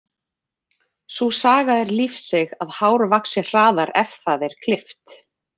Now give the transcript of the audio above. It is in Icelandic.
Sú saga er lífseig að hár vaxi hraðar ef það er klippt.